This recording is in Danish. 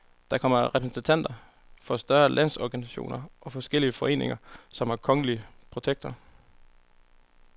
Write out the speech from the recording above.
Der kommer repræsentanter for større landsorganisationer og forskellige foreninger, som har en kongelige protektor.